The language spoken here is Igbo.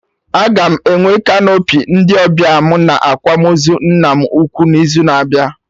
Aga m enwe canopy ndị ọbịa mụ na akwamozu nna m ukwu n'izu na-abịa